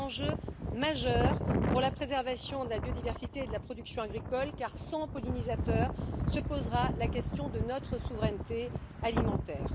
C'est un enjeu majeur pour la préservation de la biodiversité et de la production agricole car, sans pollinisateurs, se posera la question de notre souveraineté alimentaire.